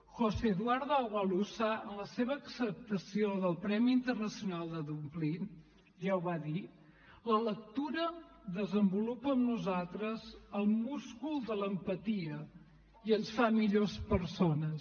josé eduardo agualusa en la seva acceptació del premi internacional de dublín ja ho va dir la lectura desenvolupa en nosaltres el múscul de l’empatia i ens fa millors persones